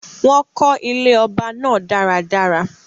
Wọ́n kó ilé ọba náà dáradára